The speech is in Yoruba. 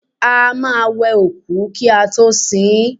A máa ń wẹ òkú kí a tó sin ín